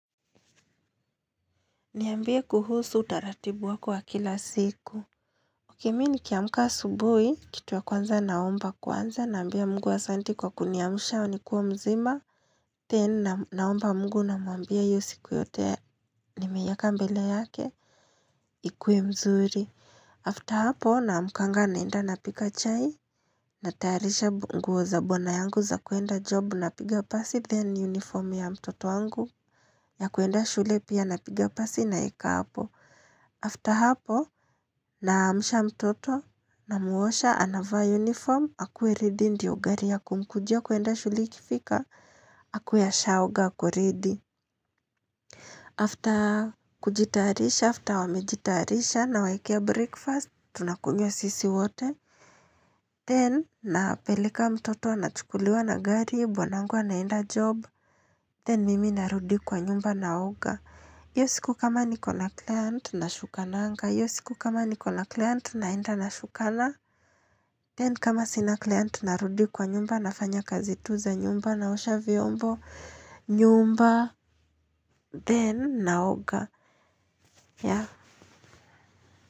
Niambie kuhusu utaratibu wako wa kila siku Ok mimi nikiamka asubuhi, kitu ya kwanza naomba kwanza nambia Mungu asanti kwa kuniamusha nikiwa mzima. Then naomba Mungu namwambia hiyo siku yote nimeiweka mbele yake. Ikuwe mzuri. After hapo namkanga naenda napika chai. Nataarisha nguo za bwana yangu za kuenda job napiga pasi then uniform ya mtoto wangu ya kuenda shule pia napiga pasi naeka hapo. After hapo, naamusha mtoto na mwosha anavaa uniform, akuwe ready ndiyo gari ya kumkujia kuenda shule ikifika, akuwe ashaoga ako ready. After kujitarisha, after wamejitarisha nawawekea breakfast, tunakunywa sisi wote. Then, napeleka mtoto ana chukuliwa na gari, bwanangu anaenda job. Then, mimi narudi kwa nyumba na oga. Hiyo siku kama nikona client nashukananga. Hiyo siku kama nikona client, naenda nashukana. Then kama sina client narudi kwa nyumba nafanya kazi tu za nyumba naosha vyombo nyumba then naoga.